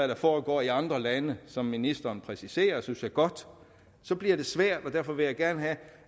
der foregår i andre lande som ministeren præciserer hun synes er godt bliver det svært derfor vil jeg gerne have